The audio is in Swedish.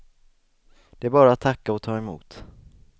Det är bara att tacka och ta emot.